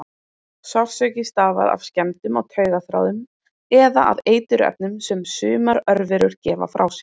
Sársauki stafar af skemmdum á taugaþráðum eða af eiturefnum sem sumar örverur gefa frá sér.